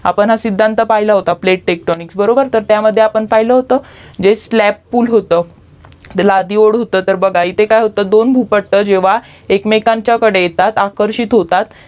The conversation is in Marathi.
आपण हा सिद्धान्त पहिला होता प्लातेलेतोंनिकस बरोबर तर त्यामध्ये आपण पहिलं होतजे स्लॅब पूल होत ते लाडीवर होतं ते काय होतं दोन भूपट्ट जेव्हा एकमेकांकडे येतात आकर्षित होतात